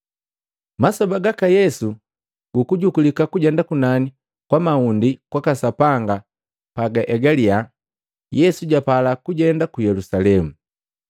Masoba gaka Yesu gukujukulika kujenda kunani kwa mahundi kwaka Sapanga pagaeliya, Yesu japala kujenda ku Yelusalemu.